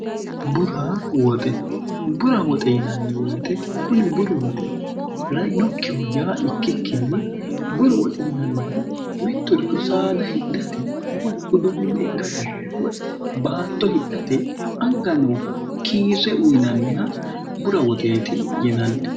burwoxebura woxe yinanni woyite kuni buru woxi rainokkihu yaa ikkikkinni buru woxi yinannihu mittorito saada hidhate woy uduunni hidhate woy baatto hidhate anga nooha kiirre uyinanniha bura woxeeti yinanni